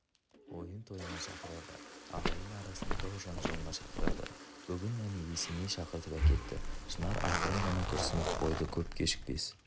ойын-тойына шақырады ағайын арасының дау-жанжалына шақырады бүгін әне есеней шақыртып әкетті шынар ақырын ғана күрсініп қойды көп кешікпес